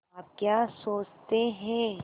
आप क्या सोचते हैं